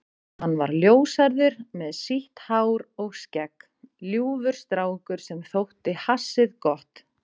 Hann var ljóshærður með sítt hár og skegg, ljúfur strákur sem þótti hassið gott.